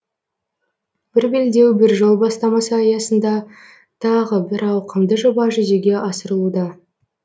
бір белдеу бір жол бастамасы аясында тағы бір ауқымды жоба жүзеге асырылуда